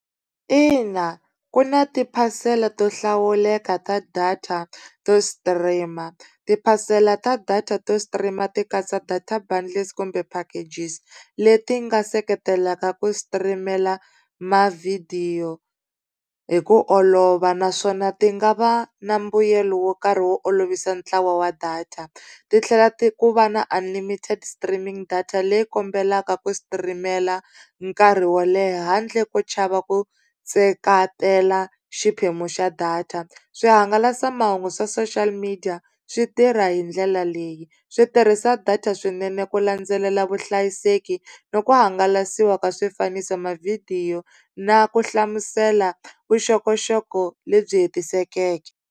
Ina ku na tiphasela to hlawuleka ta data to stream, tiphasela ta data to stream ti katsa data bundles kumbe packages. Leti nga seketelaka ku sitirimela mavhidiyo hi ku olova, naswona ti nga va na mbuyelo wo karhi wo olovisa ntlawa wa data. Titlhela ku va na unlimited streaming data leyi kombelaka ku sitirimela nkarhi wo leha handle ko chava ku seketela xiphemu xa data. Swihangalasamahungu swa social media swi tirha hi ndlela leyi, swi tirhisa data swinene ku landzelela vuhlayiseki, ni ku hangalasiwa ka swifaniso mavhidiyo na ku hlamusela vuxokoxoko lebyi hetisekeke.